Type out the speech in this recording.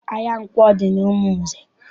Ahịa nkwọ dị n'Umunze.